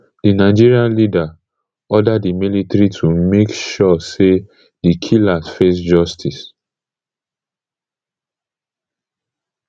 di nigerian leader order di military to make sure say di killers face justice